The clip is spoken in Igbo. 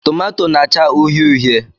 Tomato na-acha uhie uhie.